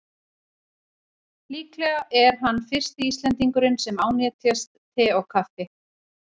Líklega er hann fyrsti Íslendingurinn sem ánetjast te og kaffi.